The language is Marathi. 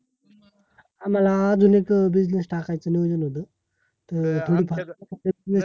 आमाला अजून एक अं business टाकायच नियोजन होतं, तर थोडी फार मदत मिळेल का?